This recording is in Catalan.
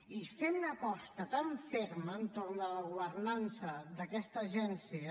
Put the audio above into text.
i fem una aposta tan ferma entorn de la governança d’aquesta agència